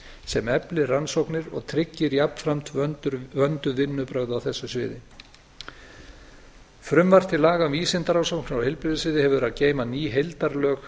sem efli rannsóknir og tryggir jafnframt vönduð vinnubrögð á þessu sviði frumvarp til laga um vísindarannsóknir á heilbrigðissviði hefur að geyma ný heildarlög